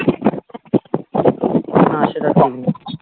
হ্যাঁ সেটা ঠিক নয়